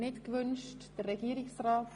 – Das ist nicht der Fall.